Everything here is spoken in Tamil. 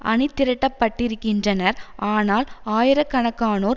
அணிதிரட்டப்பட்டிருக்கின்றனர் ஆனால் ஆயிர கணக்கானோர்